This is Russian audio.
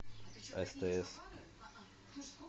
стс